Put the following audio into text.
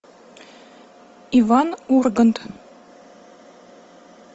иван ургант